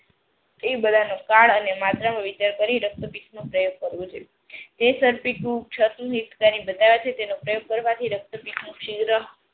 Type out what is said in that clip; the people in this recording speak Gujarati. એ બધાનો કાળ અને માત્રામાં વિચાર કરી રક્તપિતમાં પ્રયોગ કરવો જોઈએ. તેનો પ્રયોગ કરવાથી રક્તપિત નો શિગ્ર